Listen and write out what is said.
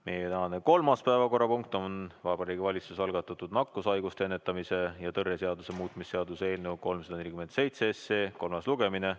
Meie tänane kolmas päevakorrapunkt on Vabariigi Valitsuse algatatud nakkushaiguste ennetamise ja tõrje seaduse muutmise seaduse eelnõu 347 kolmas lugemine.